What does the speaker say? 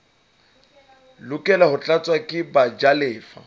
lokela ho tlatswa ke bajalefa